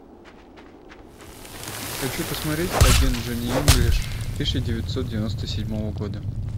хочу посмотреть агент джони инглиш тысяча девятьсот девяносто седьмого года